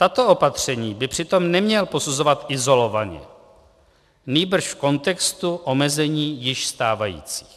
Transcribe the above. Tato opatření by přitom neměl posuzovat izolovaně, nýbrž v kontextu omezení již stávajících.